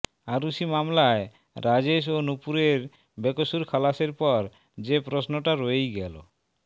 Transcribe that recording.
আরুষি মামলায় রাজেশ ও নুপূরের বেকসুর খালাসের পর যে প্রশ্নটা রয়েই গেল